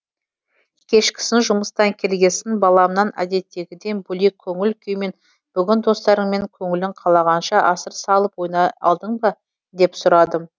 кешкісін жұмыстан келгесін баламнан әдеттегіден бөлек көңіл күймен бүгін достарыңмен көңілің қалағанша асыр салып ойнай алдың ба деп сұрадым